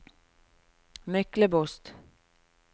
Myklebost